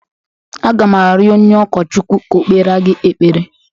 Aga m arịọ onye ụkọchukwu ka o kpere gị ekpere